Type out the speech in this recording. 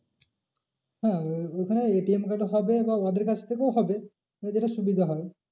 হ্যাঁ ওখানে ATM থেকে হবে বা ওদের কাছ থেকেও হবে তোর যেটা সুবিধে হয়।